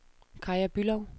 Kaja Bülow